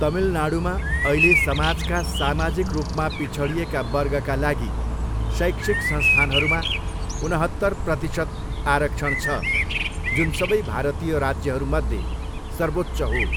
तमिलनाडुमा अहिले समाजका सामाजिक रूपमा पिछडिएका वर्गका लागि शैक्षिक संस्थानहरूमा उनहत्तर प्रतिशत आरक्षण छ, जुन सबै भारतीय राज्यहरूमध्ये सर्वोच्च हो।